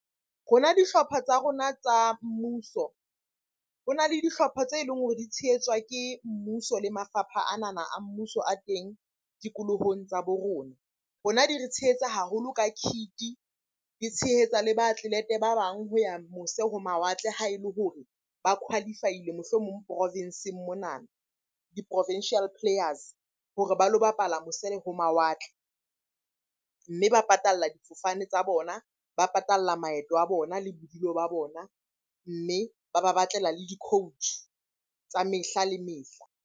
Rona dihlopha tsa rona tsa mmuso, ho na le dihlopha tse leng hore di tshehetswa ke mmuso le mafapha anana a mmuso a teng tikolohong tsa bo rona. Rona di re tshehetsa haholo ka kit-e, di tshehetsa le ba ba bang ho ya mose ho mawatle ha e le hore ba qualify-ile mohlomong profenseng monana. Di-provincial players hore ba lo bapala mose le ho mawatle. Mme ba patalla difofane tsa bona, ba patalla maeto a bona le bodulo ba bona. Mme ba ba batlela le di-coach tsa mehla le mehla.